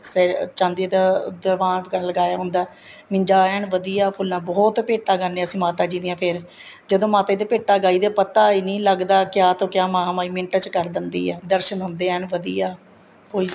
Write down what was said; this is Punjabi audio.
ਫ਼ੇਰ ਚਾਂਦੀ ਦਾ ਦੀਵਾਨ ਲਗਾਇਆ ਹੁੰਦਾ ਇੰਜਾ ਐਨ ਵਧੀਆ ਫੁੱਲਾ ਬਹੁਤ ਭੇਟਾਂ ਗਾਣੇ ਹਾਂ ਅਸੀਂ ਮਾਤਾ ਜੀ ਦੀਆ ਫ਼ੇਰ ਜਦੋਂ ਮਾਤਾ ਜੀ ਦੇ ਭੇਟਾ ਗਾਈ ਦੀਆਂ ਪਤਾ ਹੀ ਨਹੀਂ ਲੱਗਦਾ ਕਿਹਾ ਤੋ ਕਿਹਾ ਮਹਾਮਾਹੀ ਮਿੰਟਾ ਚ ਕਰ ਦਿੰਦੀ ਏ ਦਰਸ਼ਨ ਹੁੰਦੇ ਹੈ ਐਨ ਵਧੀਆ